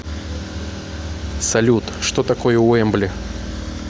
салют что такое уэмбли